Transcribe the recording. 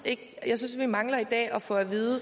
jeg synes vi mangler i dag at få at vide